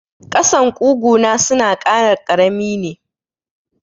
Ƙasan ƙugu na suna kara karami ne.